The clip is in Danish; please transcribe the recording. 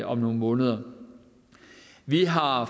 om nogle måneder vi har